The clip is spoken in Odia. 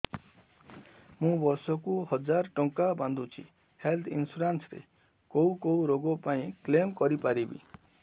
ମୁଁ ବର୍ଷ କୁ ହଜାର ଟଙ୍କା ବାନ୍ଧୁଛି ହେଲ୍ଥ ଇନ୍ସୁରାନ୍ସ ରେ କୋଉ କୋଉ ରୋଗ ପାଇଁ କ୍ଳେମ କରିପାରିବି